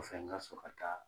O fɛ n ka sɔrɔ ka taa.